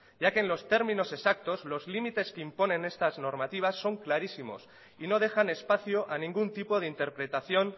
ya que en los términos exactos los límites que imponen estas normativas son clarísimos y no dejan espacio a ningún tipo de interpretación